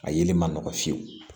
A yelen man nɔgɔn fiyewu